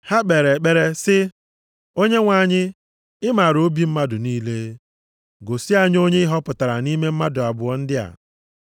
Ha kpere ekpere sị, “Onyenwe anyị, ị maara obi mmadụ niile. Gosi anyị onye ị họpụtara nʼime mmadụ abụọ ndị a.